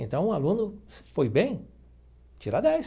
Então, um aluno, se foi bem, tira dez.